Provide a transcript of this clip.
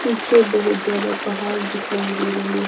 पीछे बहुत ज्यादा पहाड़ दिखाई दे रहे।